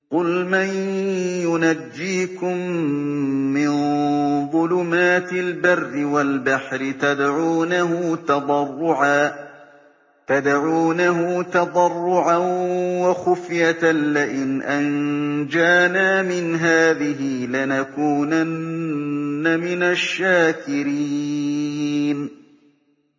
قُلْ مَن يُنَجِّيكُم مِّن ظُلُمَاتِ الْبَرِّ وَالْبَحْرِ تَدْعُونَهُ تَضَرُّعًا وَخُفْيَةً لَّئِنْ أَنجَانَا مِنْ هَٰذِهِ لَنَكُونَنَّ مِنَ الشَّاكِرِينَ